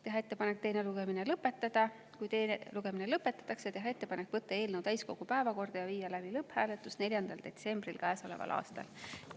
Teha ettepanek teine lugemine lõpetada ja kui teine lugemine lõpetatakse, teha ettepanek võtta eelnõu täiskogu päevakorda ja viia läbi lõpphääletus 4. detsembril käesoleval aastal.